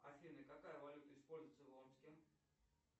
афина какая валюта используется в омске